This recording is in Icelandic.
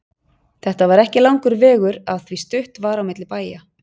Þetta var ekki langur vegur af því stutt var á milli bæja.